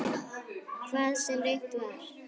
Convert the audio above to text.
Hvað sem reynt var.